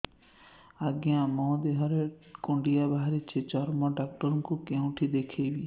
ଆଜ୍ଞା ମୋ ଦେହ ରେ କୁଣ୍ଡିଆ ବାହାରିଛି ଚର୍ମ ଡାକ୍ତର ଙ୍କୁ କେଉଁଠି ଦେଖେଇମି